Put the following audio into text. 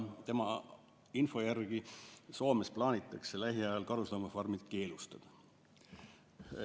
Tema info järgi plaanitakse Soomes lähiajal karusloomafarmid keelustada.